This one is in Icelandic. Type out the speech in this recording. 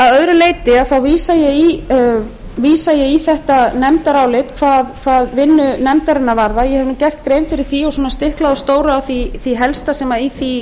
að öðru leyti þá vísa ég í þetta nefndarálit hvað vinnu nefndarinnar varðar eg hef nú gert grein fyrir því og svona stiklað á stóru á því helsta sem um það